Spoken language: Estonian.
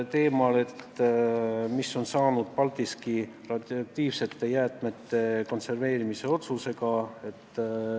Küsiti, mis on saanud Paldiski radioaktiivsete jäätmete konserveerimisest.